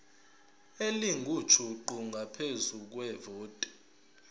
elingujuqu ngaphezu kwevoti